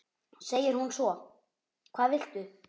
segir hún svo: Hvað viltu?